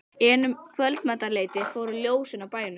En um kvöldmatarleytið fóru ljósin af bænum.